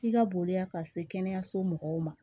I ka boliya ka se kɛnɛyaso mɔgɔw ma